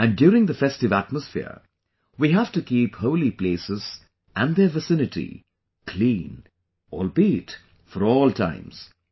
And during the festive atmosphere, we have to keep holy places and their vicinity clean; albeit for all times